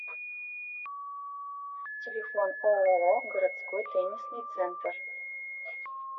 телефон ооо городской теннисный центр